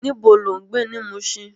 Nibó ló n gbé ni Mushin?